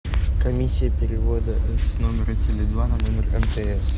комиссия перевода с номера теле два на номер мтс